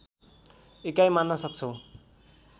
इकाइ मान्न सक्छौँ